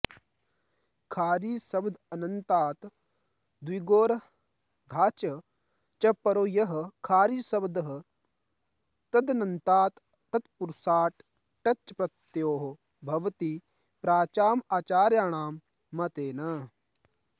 खारीशब्दान्तात् द्विगोरर्धाच् च परो यः खारीशब्दः तदन्तात् तत्पुरुषाट् टच् प्रत्ययो भवति प्राचाम् आचार्याणां मतेन